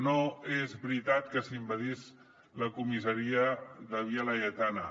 no és veritat que s’envaís la comissaria de via laietana